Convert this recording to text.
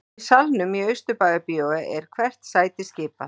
Í salnum í Austurbæjarbíói er hvert sæti skipað